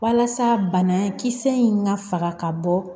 Walasa bana kisɛ in ŋa faga ka bɔ